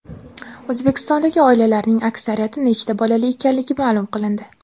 O‘zbekistondagi oilalarning aksariyati nechta bolali ekanligi ma’lum qilindi.